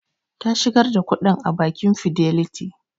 Ta shigar da kuɗin a bakin fidelity